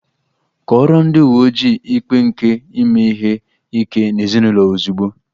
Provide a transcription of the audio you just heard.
Kọọrọ ndị uwe ojii ikpe nke ime ihe ike n'ezinụlọ ozugbo!